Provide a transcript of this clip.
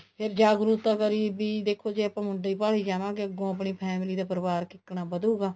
ਫ਼ੇਰ ਜਾਗਰੂਕਤਾ ਕਰੀ ਵੀ ਦੇਖੋ ਜੇ ਆਪਾਂ ਮੁੰਡਾ ਹੀ ਭਾਲੀ ਜਾਵਾਂਗੇ ਅੱਗੋਂ ਆਪਣੀ family ਦਾ ਪਰਿਵਾਰ ਕਿੱਕਣ ਵਧੁਗਾ